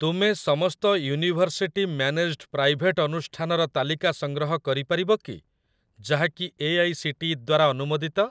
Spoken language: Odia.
ତୁମେ ସମସ୍ତ ୟୁନିଭର୍ସିଟି ମ୍ୟାନେଜ୍ଡ ପ୍ରାଇଭେଟ୍ ଅନୁଷ୍ଠାନର ତାଲିକା ସଂଗ୍ରହ କରିପାରିବ କି ଯାହାକି ଏଆଇସିଟିଇ ଦ୍ୱାରା ଅନୁମୋଦିତ?